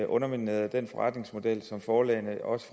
underminerede den forretningsmodel som forlagene også